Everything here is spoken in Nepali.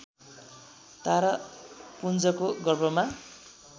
तारापुञ्जको गर्भमा